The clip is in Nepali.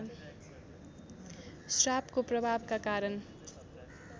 श्रापको प्रभावका कारण